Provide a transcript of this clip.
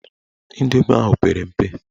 Indomi ahụ pere mpe.